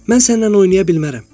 Mən səninlə oynaya bilmərəm.